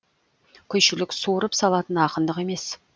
күйшілік суырып салатын ақындық емес